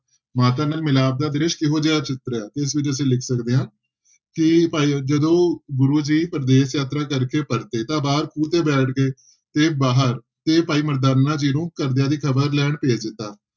ਮਾਤਾ ਨਾਲ ਮਿਲਾਪ ਦਾ ਦ੍ਰਿਸ਼ ਕਿਹੋ ਜਿਹਾ ਚਿੱਤਰਿਆ, ਇਸ ਵਿੱਚ ਅਸੀਂ ਲਿਖ ਸਕਦੇ ਹਾਂ ਕਿ ਭਾਈ ਜਦੋਂ ਗੁਰੂ ਜੀ ਪ੍ਰਦੇਸ਼ ਯਾਤਰਾ ਕਰਕੇ ਪਰਤੇ ਤਾਂ ਬਾਹਰ ਖੂਹ ਤੇ ਬੈਠ ਗਏ ਤੇ ਬਾਹਰ ਤੇ ਭਾਈ ਮਰਦਾਨਾ ਜੀ ਨੂੰ ਘਰਦਿਆਂ ਦੀ ਖ਼ਬਰ ਲੈਣ ਭੇਜ ਦਿੱਤਾ।